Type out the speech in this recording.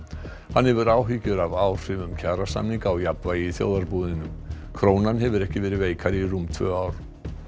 hann hefur áhyggjur af áhrifum kjarasamninga á jafnvægi í þjóðarbúinu krónan hefur ekki verið veikari í rúm tvö ár